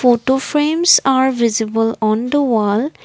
photo frames are visible on the wall.